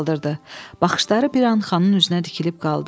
Baxışları bir an xanın üzünə tikilib qaldı.